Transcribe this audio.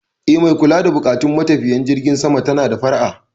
Eh, mai kula da buƙatun matafiyan jirgin sama tana da fara'a.